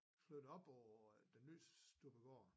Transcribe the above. Slog det op over en ny stykke gård